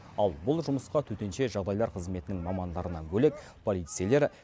ал бұл жұмысқа төтенше жағдайлар қызметінің мамандарынан бөлек полицейлер